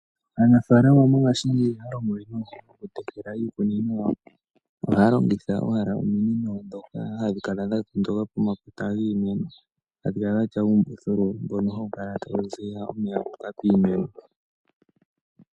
Aanafaalama mongashingeyi ihaa longo we nuudhigu oku tekela iikunino yawo, ohaa longitha owala ominino ndhoka ha dhi kala dha tondoka pomakota giimeno , hadhi kala dhatya uumbuthulu mboko hawu kala tawu ziya omeya gu uka piimeno.